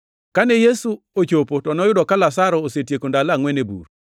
Kane Yesu ochopo, to noyudo ka Lazaro osetieko ndalo angʼwen e bur.